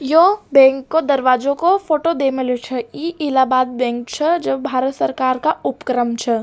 यो बैंक को दरवाजो का फोटो देमलेच्छ इह इलाहाबाद बैंक छ जो भारत सरकार को उप क्रम छ।